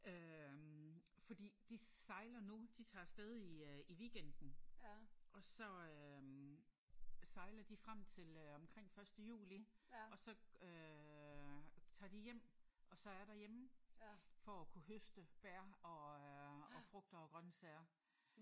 Øh fordi de sejler nu. De tager af sted i øh i weekenden og så øh sejler de frem til øh omkring første juli og så øh tager de hjem og så er derhjemme for at kunne høste bær og øh og frugter og grøntsager